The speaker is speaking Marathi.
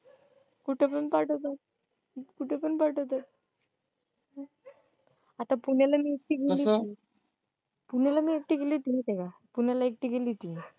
कुठ पण पाठवतात कुठ पण पाठवतात आता पुण्याला मी एकटी गेली होती, कसं? पुण्याला मी एकटी गेली होती तेव्हा, पुण्याला मी एकटी गेली होती.